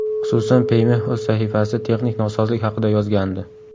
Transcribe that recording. Xususan, Payme o‘z sahifasida texnik nosozlik haqida yozgandi .